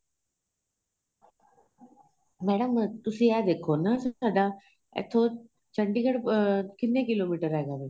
madam ਤੁਸੀਂ ਏਹ ਵੇਖੋ ਨਾ ਤੁਹਾਡਾ ਇਥੋ ਚੰਡੀਗੜ੍ਹ ਅਹ ਕਿੰਨੇ ਕਿਲੋਮੀਟਰ ਹੈਗਾ ਵੇ